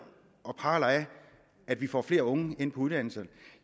og praler af at vi får flere unge ind på uddannelserne